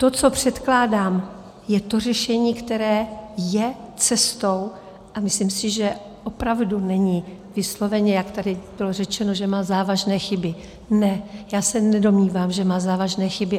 To, co předkládám, je to řešení, které je cestou, a myslím si, že opravdu není vysloveně, jak tady bylo řečeno, že má závažné chyby - ne, já se nedomnívám, že má závažné chyby.